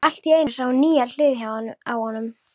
Allt í einu sá hún nýja hlið á honum.